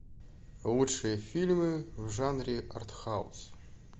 лучшие фильмы в жанре арт хаус